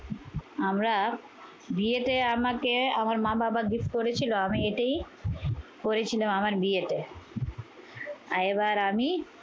আমরা, বিয়েতে আমাকে আমার মা-বাবা gift করেছিল। আমি এটাই পরেছিলাম আমার বিয়েতে। আর এবার আমি